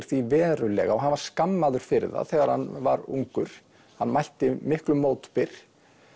því verulega og hann var skammaður fyrir það þegar hann var ungur hann mætti miklum mótbyr